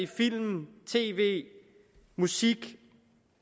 film tv musik